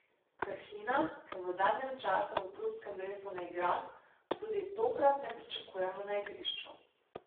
Krhina, ki v zadnjem času v klubskem dresu ne igra, tudi tokrat ne pričakujemo na igrišču.